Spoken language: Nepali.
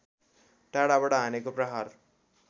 टाढाबाट हानेको प्रहार